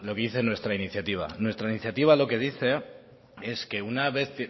dice nuestra iniciativa nuestra iniciativa lo que dice es que una vez